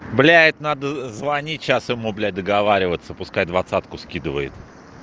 блять надо звонить сейчас ему блять договариваться пускай двадцатку скидывает